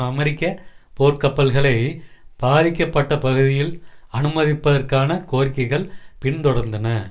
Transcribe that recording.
அமெரிக்க போர்கப்பல்களை பாதிக்கப்பட்ட பகுதியில் அனுமதிப்பதற்கான கோரிக்கைகள் பின்தொடர்ந்தன